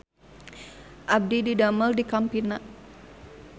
Abdi didamel di Campina